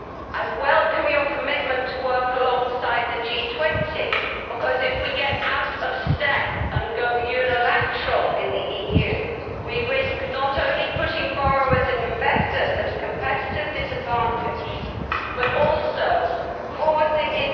I welcome your commitment to work alongside the G20, because if we get out of step and go unilateral in the EU we risk not only putting borrowers and investors at a competitive disadvantage but also causing industries to relocate outside...